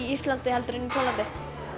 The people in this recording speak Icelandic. Íslandi heldur en í Póllandi